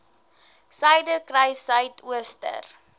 suiderkruissuidooster